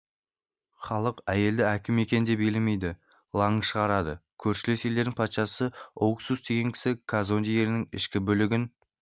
халық әйелді әкім екен деп елемейді лаң шығарады көршілес елдің патшасы оукус деген кісі казонде елінің ішкі бүлігін